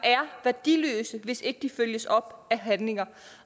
værdiløse hvis ikke de følges op af handlinger